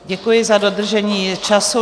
Děkuji za dodržení času.